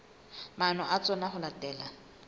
maano a tsona ho latela